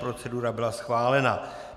Procedura byla schválena.